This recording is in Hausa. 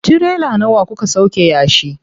Tirela nawa kuka sauƙe na yashi?